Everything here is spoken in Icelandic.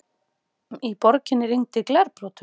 Í borginni rigndi glerbrotum